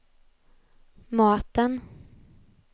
maten